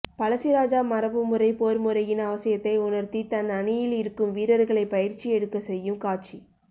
பழசிராஜா மரபுமுறை போர்முறையின் அவசியத்தை உணர்த்தித் தன் அணியில் இருக்கும் வீரர்களைப் பயிற்சி எடுக்கச் செய்யும் காட்சி